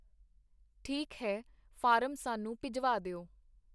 ਠੀਕ ਹੈ ਫਾਰਮ ਸਾਨੂੰ ਭਿਜਵਾ ਦਿਓ.